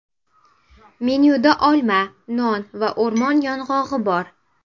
Menyuda olma, non va o‘rmon yong‘og‘i bor.